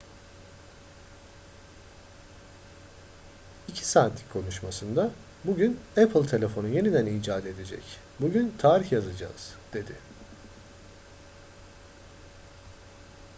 2 saatlik konuşmasında bugün apple telefonu yeniden icat edecek bugün tarih yazacağız dedi